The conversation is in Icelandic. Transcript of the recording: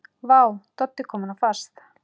Vá, Doddi kominn á fast!